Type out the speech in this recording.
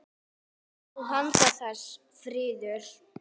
Og handan þess: friður.